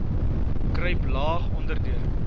kruip laag onderdeur